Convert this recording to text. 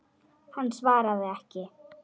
Hann svaraði ekki.